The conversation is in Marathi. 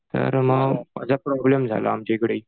तर मग असा प्रॉब्लेम झाला आमच्या इकडे ही.